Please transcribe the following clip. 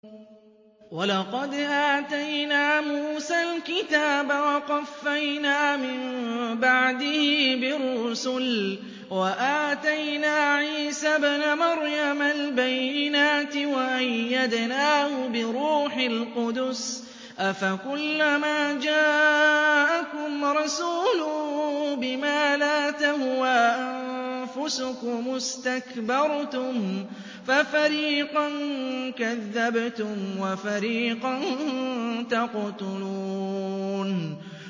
وَلَقَدْ آتَيْنَا مُوسَى الْكِتَابَ وَقَفَّيْنَا مِن بَعْدِهِ بِالرُّسُلِ ۖ وَآتَيْنَا عِيسَى ابْنَ مَرْيَمَ الْبَيِّنَاتِ وَأَيَّدْنَاهُ بِرُوحِ الْقُدُسِ ۗ أَفَكُلَّمَا جَاءَكُمْ رَسُولٌ بِمَا لَا تَهْوَىٰ أَنفُسُكُمُ اسْتَكْبَرْتُمْ فَفَرِيقًا كَذَّبْتُمْ وَفَرِيقًا تَقْتُلُونَ